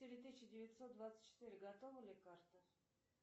четыре тысячи девятьсот двадцать четыре готова ли карта